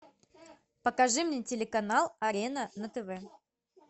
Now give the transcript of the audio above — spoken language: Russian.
покажи мне телеканал арена на тв